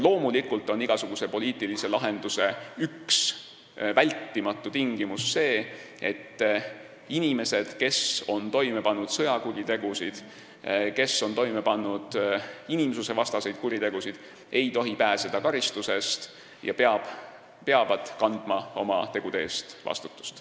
Loomulikult on igasuguse poliitilise lahenduse üks vältimatu tingimus see, et inimesed, kes on toime pannud sõjakuritegusid või inimsusevastaseid kuritegusid, ei tohi pääseda karistusest ja peavad kandma oma tegude eest vastutust.